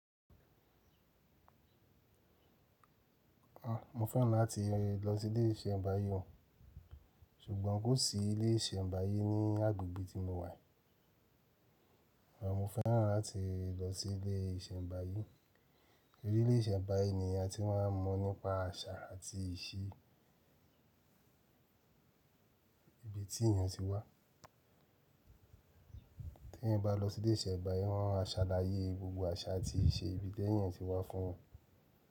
Àn, mo fẹ́ràn láti lọ sí ilé ìsẹ̀mbáyé o, ṣùgbọ́n kò sí ilé ìsẹ̀mbáyé ní agbègbè tí mo wà. Àn, mo fẹ́ràn láti lọ sí ilé ìsẹ̀mbáyé. tOrí ilé ìsẹ̀mbáyé ni èèyàn tí wọ́n mọ̀ nípa àṣà àti ìṣí ibi tí èèyàn ti wá. Tí èèyàn bá lọ sí ilé ìsẹ̀mbáyé, wọ́n máa ṣàlàyé gbogbo àṣà àti ìṣe ibi tí èèyàn ti wá fún wọn.